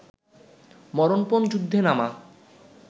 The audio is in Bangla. মরণপণ যুদ্ধে নামা